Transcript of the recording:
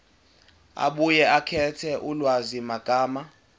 abuye akhethe ulwazimagama